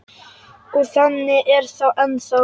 Og þannig er það ennþá.